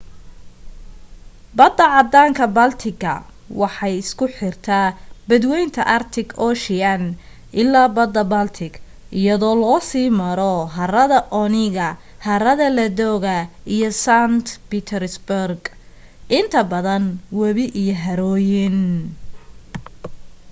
badda caddaanka-baltic-ga waxay isku xirtaaa badweynta arctic ocean ilaa badda baltic, iyada oo loo sii maro harada onega, harada ladoga iyo saint petersburg, inta badan webi iyo harooyin